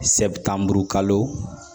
Sɛtan burukalo